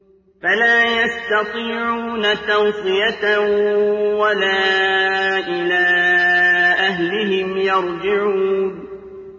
فَلَا يَسْتَطِيعُونَ تَوْصِيَةً وَلَا إِلَىٰ أَهْلِهِمْ يَرْجِعُونَ